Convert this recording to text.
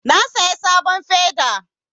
Na saya sabon feda